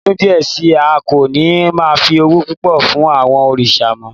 Ní ọdún díẹ̀ sí i, a kò ní máa fi ọ̀wọ̀ púpọ̀ fún àwọn òrìṣà mọ́